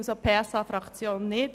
Das unterstützen wir nicht.